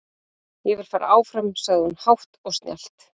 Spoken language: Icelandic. Ég vil fara áfram, sagði hún hátt og snjallt.